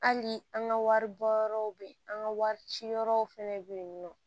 Hali an ka wari bɔ yɔrɔw bɛ yen an ka wari ciyɔrɔw fana bɛ yen nɔ